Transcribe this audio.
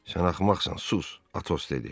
Sən axmaqsan, sus, Atos dedi.